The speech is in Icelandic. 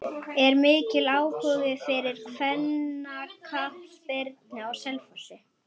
Er mikill áhugi fyrir kvennaknattspyrnu á Selfossi?